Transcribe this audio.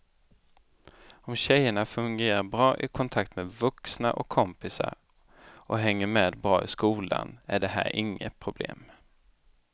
Om tjejerna fungerar bra i kontakt med vuxna och kompisar och hänger med bra i skolan är det här inget problem.